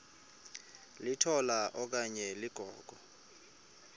litola okanye ligogo